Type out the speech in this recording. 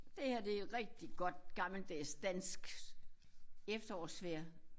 Det her det er rigtig godt gammeldags dansk efterårsvejr